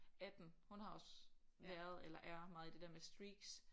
18 hun har også været eller er meget i det der med streaks